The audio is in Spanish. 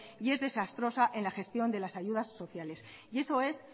y desastrosa en la gestión de las ayudas sociales y eso es